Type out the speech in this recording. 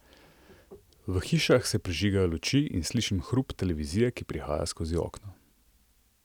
V hišah se prižigajo luči in slišim hrup televizije, ki prihaja skozi okno.